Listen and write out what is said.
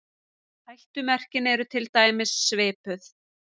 Hættumerkin eru til dæmis svipuð.